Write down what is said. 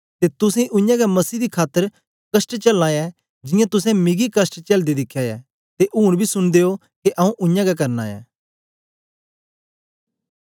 ते तुसें उयांगै मसीही दी खातर कष्ट चलना ऐ जियां तुसें मिकी कष्ट चेलदे दिखया ऐ ते ऊन बी सुनदे ओ के आऊँ उयांगै करना ऐ